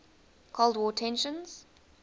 cold war tensions